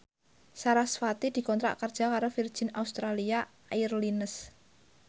sarasvati dikontrak kerja karo Virgin Australia Airlines